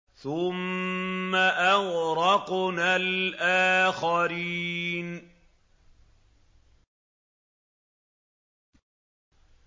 ثُمَّ أَغْرَقْنَا الْآخَرِينَ